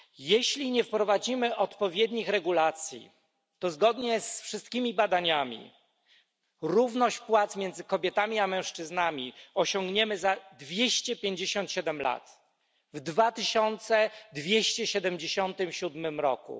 Jeśli nie wprowadzimy odpowiednich regulacji, to zgodnie z wszystkimi badaniami równość płac między kobietami a mężczyznami osiągniemy za 257 lat, w 2277 roku.